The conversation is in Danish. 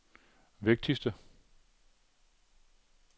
vigtigste